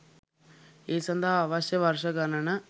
ඒ සඳහා අවශ්‍ය වර්ෂ ගණන